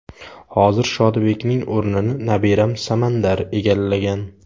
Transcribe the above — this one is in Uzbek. Hozir Shodibekning o‘rnini nabiram Samandar egallagan.